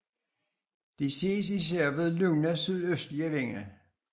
De ses især ved lune sydøstlige vinde